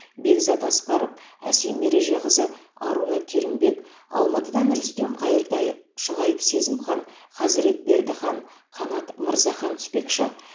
бекзат асқаров әсем ережеқызы аруна керімбек алматыдан рүстем қайыртай шұғайып сезімхан хазірет бердіхан қанат мырзахан түспекші